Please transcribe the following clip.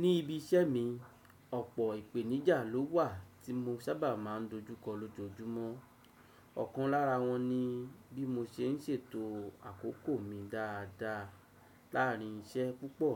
Ní ibi iṣẹ́ mi, ọ̀pọ̀ ìpèníjà ló wà tí mo sábà máa ń dojúkọ lójoojúmọ́. Ọ̀kan lára wọn ni bí mo ṣe ń ṣètò àkókò mi dáadáa láàárín iṣẹ́ púpọ̀